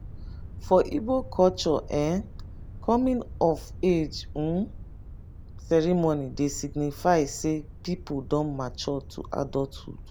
for igbo culture um coming of age um ceremony dey signify sey person don mature to adulthood